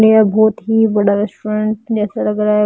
येह बहोत ही बड़ा रेस्टोरेंट जैसा लग रहा है।